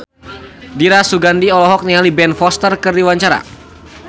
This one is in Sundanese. Dira Sugandi olohok ningali Ben Foster keur diwawancara